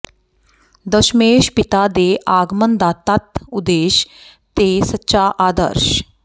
ਦਸਮੇਸ਼ ਪਿਤਾ ਦੇ ਆਗਮਨ ਦਾ ਤੱਤ ਉਦੇਸ਼ ਤੇ ਸੱਚਾ ਆਦਰਸ਼